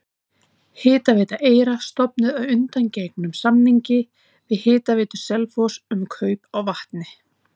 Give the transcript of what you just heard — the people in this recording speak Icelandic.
Hitaveita Eyra stofnuð að undangengnum samningi við Hitaveitu Selfoss um kaup á vatni.